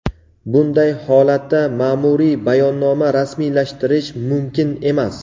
bunday holatda maʼmuriy bayonnoma rasmiylashtirish mumkin emas.